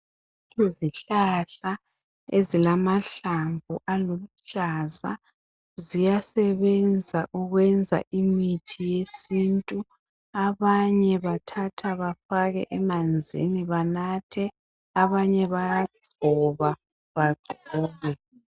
Izihlahla ezila mahlamvu aluhlaza ziyasebenza ukwenza imithi yesintu. Abanye bathatha befake emanzini banathe abanye bayagcoba bagcobe.